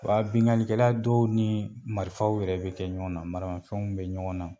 Wa binganlikɛla dɔw ni marifaw yɛrɛ bɛ kɛ ɲɔgɔn na maramafɛnw bɛ ɲɔgɔn na.